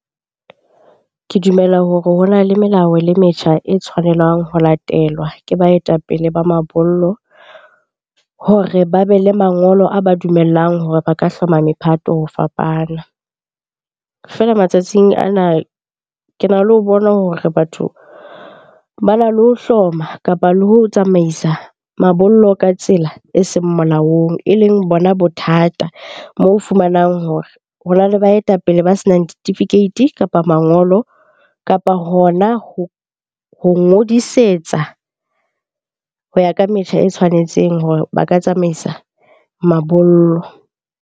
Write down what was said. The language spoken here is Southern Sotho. Ke dumela hore ho na le melao le metjha e tshwanelang ho latelwa ke baetapele ba mabollo hore ba be le mangolo a ba dumellang hore ba ka hloma mephato ho fapana. Feela matsatsing ana, ke na le ho bona hore batho bana le ho hloma kapa le ho tsamaisa mabollo ka tsela e seng molaong e leng bona bothata. Moo o fumanang hore ho na le baetapele ba senang ditifikeiti kapa mangolo kapa hona ho ngodisetsa ho ya ka metjha e tshwanetseng hore ba ka tsamaisa mabollo.